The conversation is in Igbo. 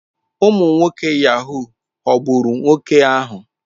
Ụmụ nwoke Yahoo ghọgburu nwoke ahụ.